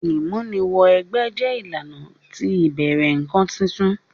Ìmúni wẹ gbẹ́ jẹ ìlànà ti ìbẹ̀rẹ̀ nkan titun.